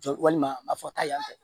Jɔ walima a ma fɔ ta yan fɛ